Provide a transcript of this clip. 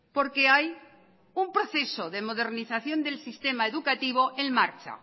porque hay un proceso de modernización del sistema educativo en marcha